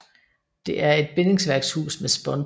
Det er et bindingsværkshus med spåntag